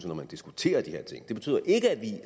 når man diskuterer de her ting det betyder ikke at vi